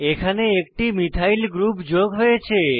এখানে একটি methyl methyl group যোগ হয়েছে